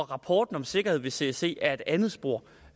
rapporten om sikkerhed ved csc er et andet spor og